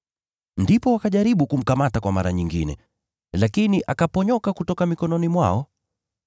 Ndipo wakajaribu kumkamata kwa mara nyingine, lakini akaponyoka kutoka mikononi mwao.